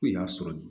Ko in y'a sɔrɔ